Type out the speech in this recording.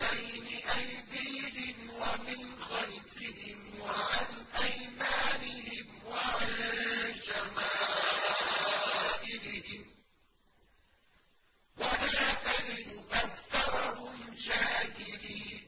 بَيْنِ أَيْدِيهِمْ وَمِنْ خَلْفِهِمْ وَعَنْ أَيْمَانِهِمْ وَعَن شَمَائِلِهِمْ ۖ وَلَا تَجِدُ أَكْثَرَهُمْ شَاكِرِينَ